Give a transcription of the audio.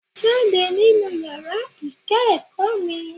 Jáde nínú yàrá ìkẹ́ẹ̀kọ̀ mi!